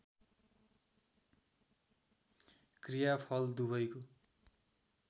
क्रिया फल दुवैको